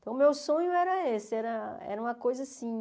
Então, o meu sonho era esse, era era uma coisa assim...